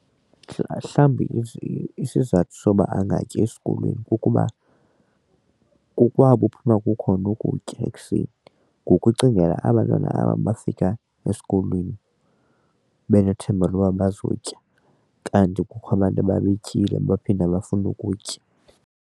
Mhlawumbi isizathu soba angatyi esikolweni kukuba kokwabo uphuma kukhona ukutya ekuseni ngoku ucingela aba' ntwana aba bafika esikolweni benethemba loba bazotya kanti kukho abantu babetyile baphinde bafune ukutya.